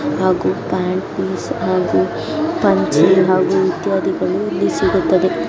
ಹಾಗೂ pant piece ಹಾಗೂ ಪಂಚೆ ಹಾಗೂ ಇತ್ಯಾದಿಗಳು ಸಿಗುತ್ತದೆ.